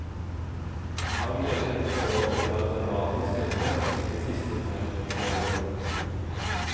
Han mener forholdene er dramatisk endret de siste fem årene.